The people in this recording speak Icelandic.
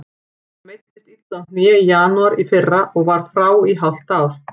Hann meiddist illa á hné í janúar í fyrra og var frá í hálft ár.